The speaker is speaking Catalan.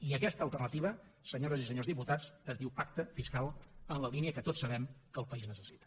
i aquesta alternativa senyores i senyors diputats es diu pacte fiscal en la línia que tots sabem que el país necessita